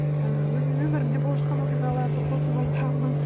ііі өзімнің өмірімде болып жатқан оқиғаларды қосып айтамын